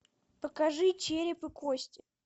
покажи череп и кости